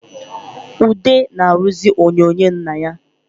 Ude na-arụzị onyonyo nna ya